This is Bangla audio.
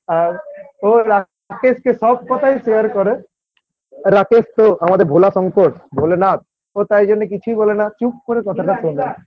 আর ও রাকেশ কে সব কথাই share করে রাকেশ তো আমাদের ভোলা শংকর ভোলেনাথ ও তাই জন্য কিছুই বলে না চুপ করে কথাটা শোনে।